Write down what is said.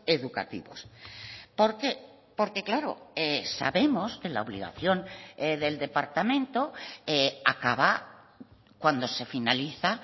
educativos por qué porque claro sabemos que la obligación del departamento acaba cuando se finaliza